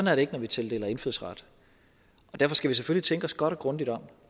er det ikke når vi tildeler indfødsret derfor skal vi selvfølgelig tænke os godt og grundigt om